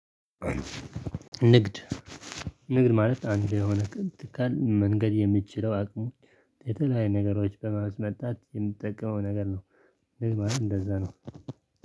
ንግድ ንግድ ማለት አንድ የሆነ ቅንጥቃን መንገድ የምትችለው አቅሙን የተለያየ ነገሮች በማስመጣት የምትጠቀመው ነገር ነው። ንግድ ማለት እንደዛ ነው